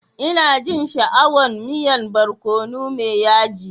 Ina jin sha'awan miyan barkono mai yaji.